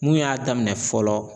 Mun y'a daminɛ fɔlɔ.